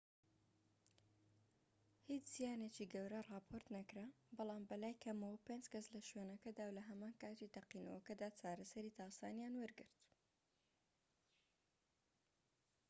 هیچ زیانێکی گەورە راپۆرت نەکرا بەڵام بەلای کەمەوە پێنج کەس لە شوێنەکەدا و لە هەمان کاتی تەقینەوەکەدا چارەسەری تاسانیان وەرگرت